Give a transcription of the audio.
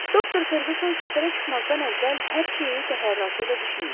Doktor Ferqüsson səfərə çıxmazdan əvvəl hər şeyi təfərrüatıyla düşünmüşdü.